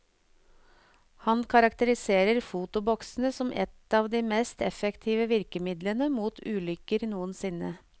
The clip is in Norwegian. Han karakteriserer fotoboksene som et av de mest effektive virkemidlene mot ulykker noensinne.